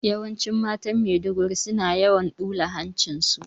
Yawanci matan Maiduguri, suna yawan ɓula hancin su.